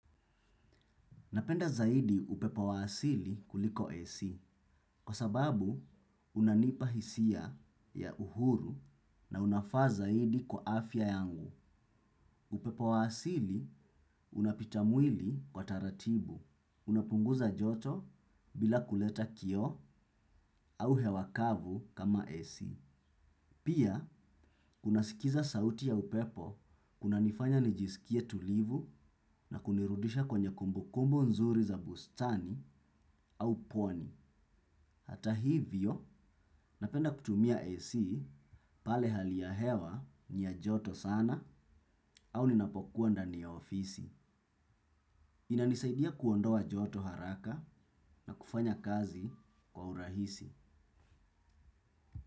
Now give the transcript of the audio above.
Napenda zaidi upepo wa asili kuliko AC. Kwa sababu, unanipa hisia ya uhuru na unafaa zaidi kwa afya yangu. Upepo waasili unapita mwili kwa taratibu. Unapunguza joto bila kuleta kio au hewakavu kama AC. Pia, unasikiza sauti ya upepo kuna nifanya nijisikie tulivu na kunirudisha kwenye kumbukumbu nzuri za bustani au pwani. Hata hivyo, napenda kutumia AC pale haliahewa nia joto sana au ninapokuwa ndani ya ofisi. Inanisaidia kuondoa joto haraka na kufanya kazi kwa urahisi.